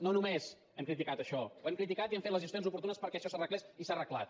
no només hem criticat això ho hem criticat i hem fet les gestions oportunes perquè això s’arreglés i s’ha arreglat